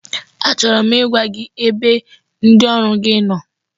Achọrọ m ịgwa gị ebe ndị ọrụ gi nọ,